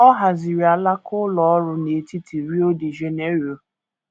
Ọ haziri alaka ụlọ ọrụ n’etiti Rio de Janeiro.